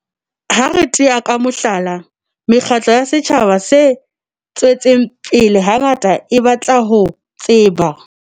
Ha re tea ka mohlala, mekgatlo ya setjhaba se tswetseng pele hangata e batla ho tseba